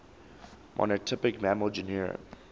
monotypic mammal genera